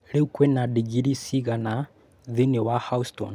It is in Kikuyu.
Rĩu kwĩ na digrii cigana thĩinĩ wa Houston